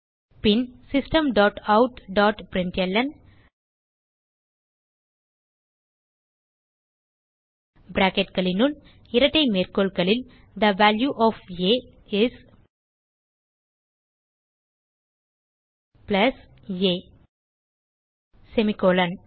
பின் system dot out dot println bracketகளுனுள் இரட்டை மேற்கோள்களில் the value of a is plus a semicolon